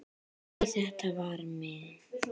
Nei, þetta var minn